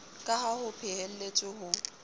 ka ha ho phehelletswe ho